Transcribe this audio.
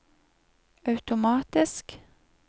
automatisk